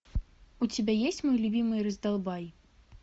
у тебя есть мой любимый раздолбай